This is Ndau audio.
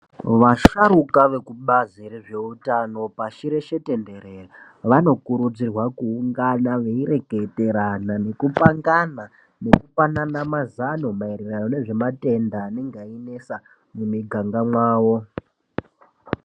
Vasharuka veku bazi rezve utano pashi reshe tenderere vano kurudzirwa ku ungana veyi reketerana neku pangana neku panana mazano maererano nezve matenda anenge eyi netsa mu miganga mwawo.